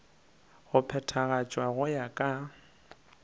go phethagatšwa go ya ka